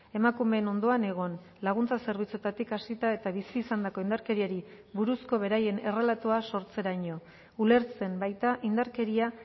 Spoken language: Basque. emakumeen ondoan egon laguntza zerbitzuetatik hasita eta bizi izandako indarkeriari buruzko beraien errelatoa sortzeraino ulertzen baita indarkeria